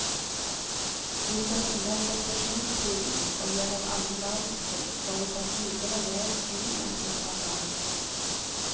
Vi skal innom depresjonstiden og gjennom annen verdenskrig før vi tas videre med inn i atomalderen.